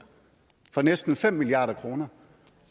for næsten fem milliard kroner